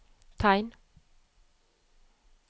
tegn